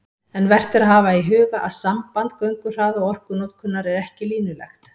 En vert er að hafa í huga að samband gönguhraða og orkunotkunar er ekki línulegt.